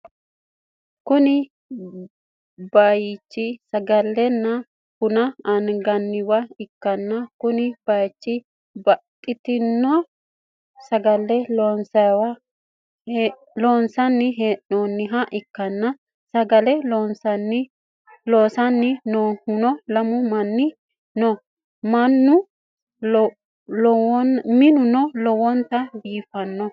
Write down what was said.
kuni bayichi sagalenna buna anganniwa ikkanna, konne bayicho babbaxxitino sagale loonse hee'noonniha ikkanna, sagale loosanni noohuno lamu manni no, minuno lowontanni biifannoho.